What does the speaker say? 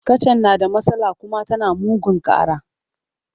Kacan na da matsala kuma tana mugun ƙara.